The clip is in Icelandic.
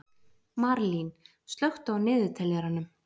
Marlín, slökktu á niðurteljaranum.